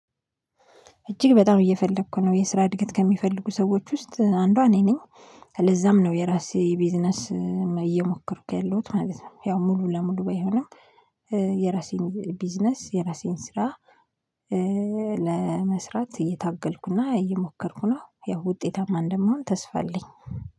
እጅግ በጣም እየፈለኩ ነው የስራ እድገት ከሚፈልጉ ሰዎች ውስጥ አንዷ እኔ ነኝ። ለዛም ነው የራሴ ቢዝነስ እየሞከርኩ ያለሁት ማለት ነው። ያው ሙሉ ለሙሉ ባይሆንም። የራሴን ቢዝነስ የራሴን ስራ ለመስራት እየታገልኩና እየሞከርኩ ነው። ያው ውጤታማ እንደምሆን ተስፋ አለኝ